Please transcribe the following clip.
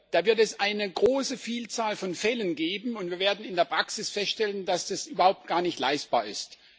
Da wird es eine große Vielzahl von Fällen geben, und wir werden in der Praxis feststellen, dass das überhaupt gar nicht leistbar ist.